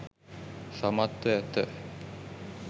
සමත්ව ඇත.